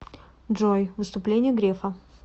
джой выступление грефа